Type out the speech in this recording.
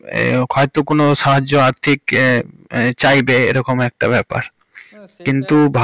হয়তো কোনো সাহায্য আর্থিক হমম চাইবে এ রকম একটা ব্যাপার। না সেই টা।